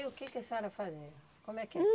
E o quê que a senhora fazia? Como é que era?